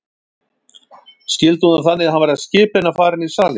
Skildi hún það þannig að hann væri að skipa henni að fara inn í salinn?